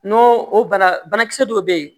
N'o o banakisɛ dɔw bɛ yen